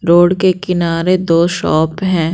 Road के किनारे दो शॉप हैं।